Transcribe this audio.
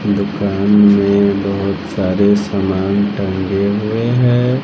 दुकान में बहोत सारे सामान टंगे हुए हैं।